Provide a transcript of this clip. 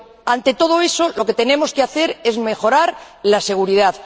Ante todo eso, lo que tenemos que hacer es mejorar la seguridad.